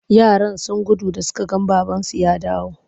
Yaran sun gudu da suka ga babansu ya dawo.